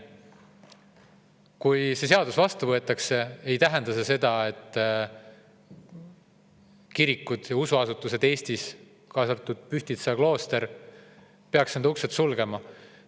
Kui see seadus vastu võetakse, siis ei tähenda see seda, et kirikud ja muud usuasutused Eestis, kaasa arvatud Pühtitsa klooster, peaksid uksed sulgema.